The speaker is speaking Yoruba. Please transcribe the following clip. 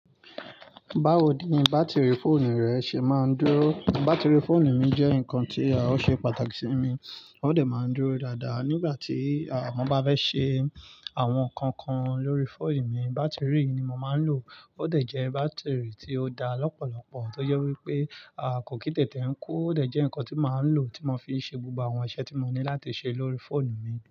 Báwo ni bátìrì fóònù rẹ ṣe máa ń dúró? Bátìrì fóònù mi jẹ́ nǹkan tí à ó ṣe pàtàkì sí mi. Ó dẹ̀ máa ń dúró dáadáa. Nígbà tí àbmọ́ bá fẹ́ ṣe àwọn ǹkan kan lórí fóònù mi, bátìrì ni mo màá ń lò. Ó dẹ̀ jẹ́ bátìrì tí ó dá lọ́pọ̀lọpọ̀ tó jẹ wípé a kò kì tètè ń kú. Ó dẹ̀ jẹ́ ǹkan tí màá ń lò, tí mo fi ń ṣe gbogbo àwọn iṣẹ́ tí mo ní láti ṣe lórí fóònù mi.